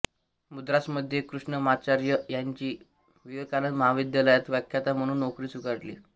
मद्रासमध्ये कृष्णमाचार्य यांनी विवेकानंद महाविद्यालयात व्याख्याता म्हणून नोकरी स्वीकारली